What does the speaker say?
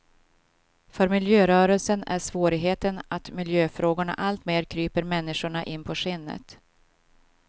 För miljörörelsen är svårigheten att miljöfrågorna alltmer kryper människorna in på skinnet.